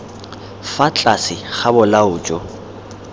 fa tlase ga bolao jo